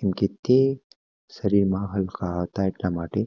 કેમકે તે શરીર માં હલકા એટલા માટે